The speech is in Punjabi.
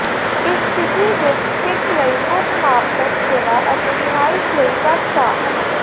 ਇਸ ਸਥਿਤੀ ਦੀ ਿਖੱਚ ਲਈ ਮੁੱਖ ਮਾਪਦੰਡ ਸੇਵਾ ਅਤੇ ਰਿਹਾਇਸ਼ ਲਈ ਘੱਟ ਭਾਅ ਹਨ